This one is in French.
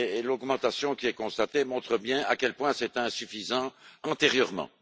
L'augmentation qui est constatée montre bien à quel point c'était insuffisant antérieurement.